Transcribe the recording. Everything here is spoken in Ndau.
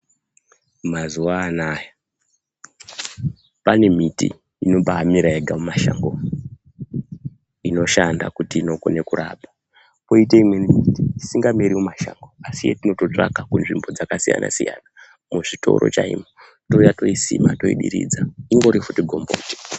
Mazuwa anaya, pane miti inobaamera yega mumashango umu, inoshanda kuti inokone kurapa, kwoite imweni isingameri mumashango, asi yetinototsvaka kinzvimbo dzakasiyana-siyana, muzvitoro chaimo touya toisima, toidiridza, ingori futi gombo.....